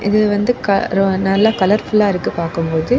இது வந்து க ரொ நல்ல கலர்ஃபுல்லா இருக்கு பார்க்கும்போது.